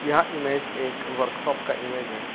यह इमेज एक वर्कशॉप का इमेज है।